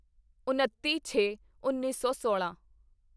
ਉਣੱਤੀ ਛੇਉੱਨੀ ਸੌ ਸੋਲਾਂ